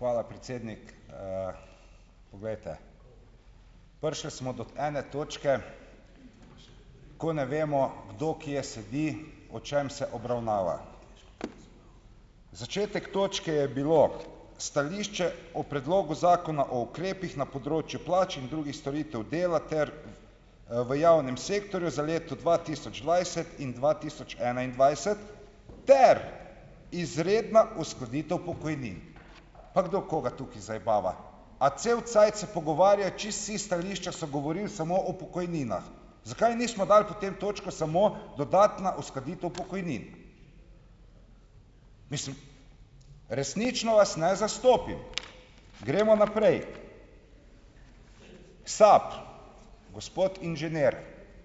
Hvala, predsednik. Poglejte, prišli smo do ene točke, ko ne vemo, kdo kje sedi, o čem se obravnava. Začetek točke je bilo stališče o predlogu Zakona o ukrepih na področju plač in drugih storitev dela ter, v javnem sektorju za leto dva tisoč dvajset in dva tisoč enaindvajset ter izredna uskladitev pokojnin. Pa kdo koga tukaj zajebava? A cel cajt se pogovarja, čisto vsa stališča so govorila samo o pokojninah. Zakaj nismo dali potem točko samo "dodatna uskladitev pokojnin"? Mislim, resnično vas ne zastopim. Gremo naprej. SAB, gospod inženir,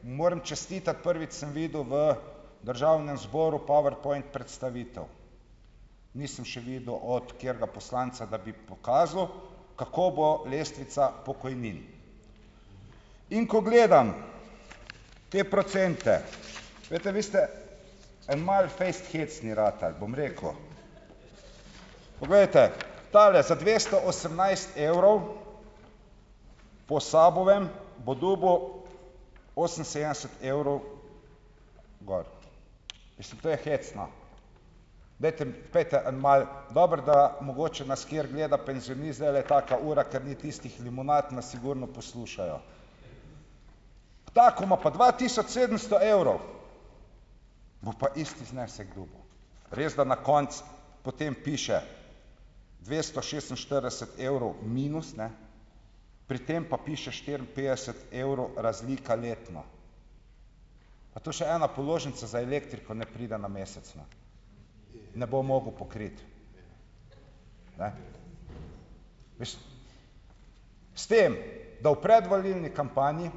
moram čestitati, prvič sem videl v državnem zboru powerpoint predstavitev. Nisem še videl od katerega poslanca, da bi pokazal, kako bo lestvica pokojnin. In ko gledam te procente. Glejte, vi ste en malo fejst hecni ratali, bom rekel. Poglejte, tale, za dvesto osemnajst evrov, po SAB-ovem bo dobil oseminsedemdeset evrov gor. Mislim, to je hecno. Dajte, pojdite en malo ... Dobro, da mogoče nas kateri gleda, penzionist, zdajle je taka ura, ker ni tistih limonad, nas sigurno poslušajo. Ta, ki ima pa dva tisoč sedemsto evrov, bo pa isti znesek dobil. Res, da na koncu potem piše, dvesto šestinštirideset evrov minus, pri tem pa piše štiriinpetdeset evrov razlika letno. A to še ena položnica za elektriko ne pride na mesec, ne bo mogel pokriti. Ne. Mislim, s tem da v predvolilni kampanji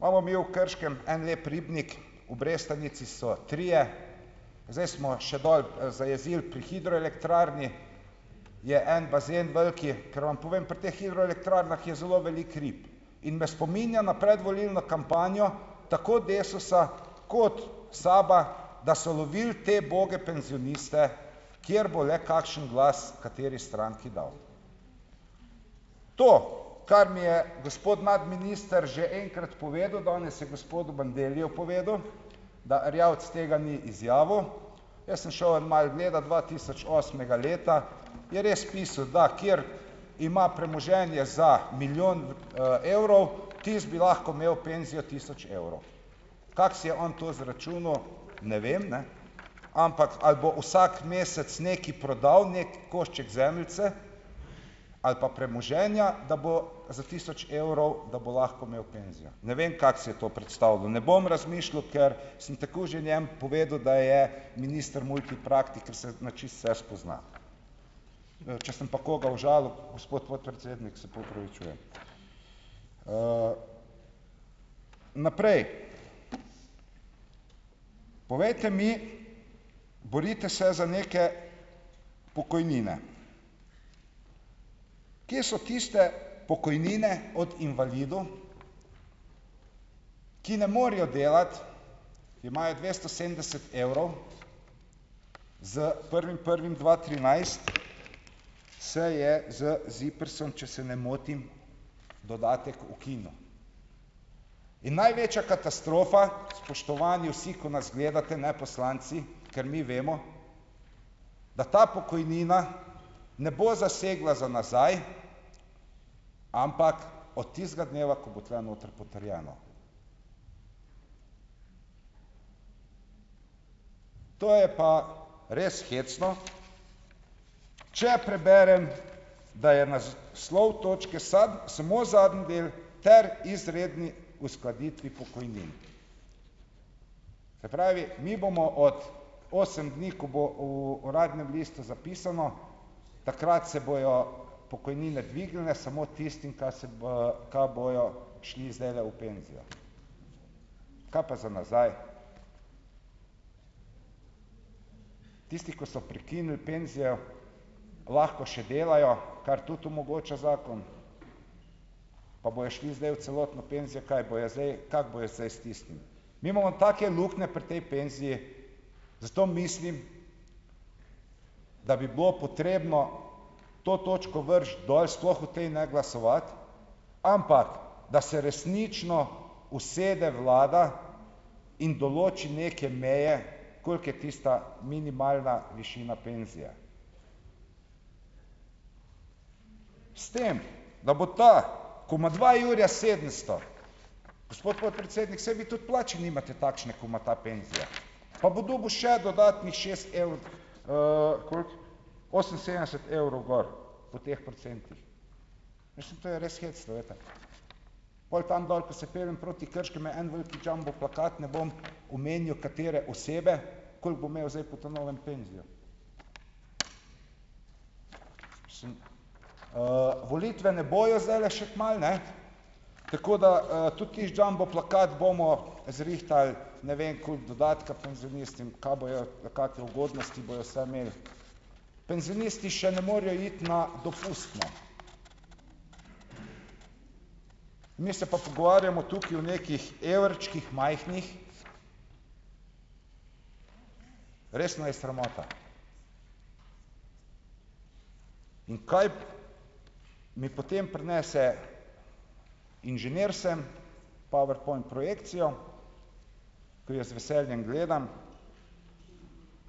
imamo mi v Krškem en lep ribnik, v Brestanici so trije, zdaj smo še dol, zajezili, pri hidroelektrarni je en bazen velik, ker vam povem, pri teh hidroelektrarnah je zelo veliko rib in me spominja na predvolilno kampanjo tako Desusa kot SAB-a, da so lovili te uboge penzioniste, kjer bo le kakšen glas kateri stranki dal. To, kar mi je gospod nadminister že enkrat povedal, danes je gospodu Bandelliju povedal, da Erjavec tega ni izjavil. Jaz sem šel en malo gledat, dva tisoč osmega leta je res pisal, da ker ima premoženje za milijon, evrov, tisti bi lahko imel penzijo tisoč evrov. Kako si je on to izračunal, ne vem, ampak ali bo vsak mesec nekaj prodal, neki košček zemljice ali pa premoženja, da bo za tisoč evrov, da bo lahko imel penzijo. Ne vem, kako si je to predstavljal. Ne bom razmišljal, ker sem tako že njem povedal, da je minister multipraktik, ker se na čisto vse spozna. če sem pa koga užalil, gospod podpredsednik, se pa opravičujem. Naprej. Povejte mi, borite se za neke pokojnine. Kje so tiste pokojnine od invalidov, ki ne morejo delati, ki imajo dvesto sedemdeset evrov, s prvim prvim dva trinajst se je z ZIPRS-om, če se ne motim, dodatek ukinil. In največja katastrofa, spoštovani vsi, ko nas gledate, poslanci, ker mi vemo, da ta pokojnina ne bo zasegla za nazaj, ampak od tistega dneva, ko bo tule noter potrjeno. To je pa res hecno. Če preberem, da je naslov točke samo zadnji del "ter izredni uskladitvi pokojnin", pravi, mi bomo od osem dni, ko bo v Uradnem listu zapisano, takrat se bojo pokojnine dvignile samo tistim, ka se ka bojo šli zdajle v penzijo. Kaj pa za nazaj? Tisti, ko so prekinili penzijo, lahko še delajo, kar tudi omogoča zakon, pa bojo šli zdaj v celotno penzijo. Kaj bojo zdaj, kako bojo zdaj stisnili? Mi imamo take luknje pri tej penziji, zato mislim, da bi bilo potrebno to točko vreči dol, sploh o tej ne glasovati, ampak da se resnično usede vlada in določi neke meje, koliko je tista minimalna višina penzije. S tem da bo ta, ko ima dva jurja sedemsto, gospod podpredsednik, saj vi tudi plače nimate takšne, ko ima ta penzijo, pa bo dobil še dodatnih šest koliko? Oseminsedemdeset evrov gor po teh procentih. Mislim, to je res hecno, glejte. Pol tam dol, ko se peljem proti Krškem, je en velik jumbo plakat, ne bom omenjal, katere osebe, koliko bo imel zdaj po ta novem penzijo. volitve ne bojo zdajle še kmalu, tako da, tudi tisti jumbo plakat bomo zrihtali, ne vem, koliko dodatka penzionistom, kaj bojo kake ugodnosti bojo vse imeli. Penzionisti še ne morajo iti na dopust, mi se pa pogovarjamo tukaj o nekih evrčkih majhnih. Resno je sramota, in kaj mi potem prinese inženir sem, powerpoint projekcijo, ki jo z veseljem gledam,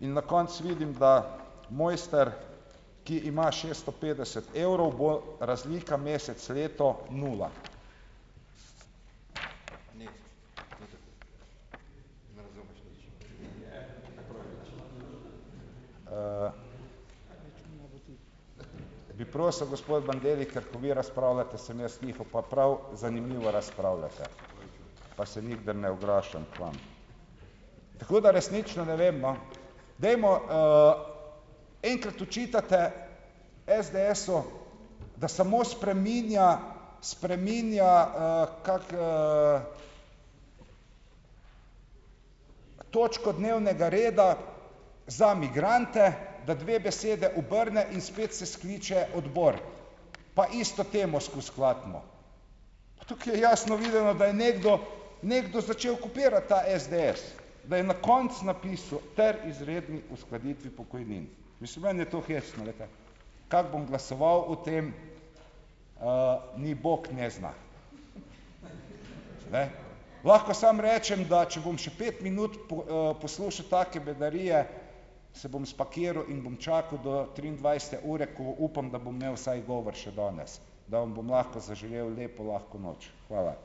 in na koncu vidim, da mojster, ki ima šesto petdeset evrov, bo razlika mesec, leto - nula. bi prosil, gospod Bandelli, ker ko vi razpravljate, sem jaz tiho, pa prav zanimivo razpravljate, pa se nikdar ne oglašam k vam. Tako da resnično ne vem, no, dajmo, enkrat očitate SDS-u, da samo spreminja spreminja, kako, točko dnevnega reda za migrante, da dve besede obrne in spet se skliče odbor, pa isto temo skozi klatimo. Pa tukaj je jasno videno, da je nekdo nekdo začel kopirati ta SDS, da je na koncu napisal - ter izredni uskladitvi pokojnin. Mislim, meni je to hecno, glejte ... Kako bom glasoval, o tem, Ne? Lahko samo rečem, da če bom še pet minut poslušal take bedarije, se bom spakiral in bom čakal do triindvajsete ure, ko upam, da bom imel vsaj govor še danes, da vam bom lahko zaželel lepo lahko noč. Hvala.